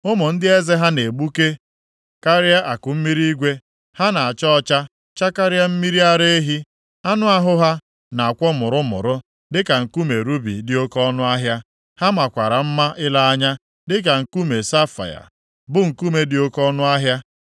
Ụmụ ndị eze ha na-egbuke karịa akụmmiri igwe, ha na-acha ọcha chakarịa mmiri ara ehi. Anụ ahụ ha na-akwọ mụrụmụrụ dịka nkume rubi dị oke ọnụahịa; ha makwara mma ile anya dịka nkume safaia, bụ nkume dị oke ọnụahịa.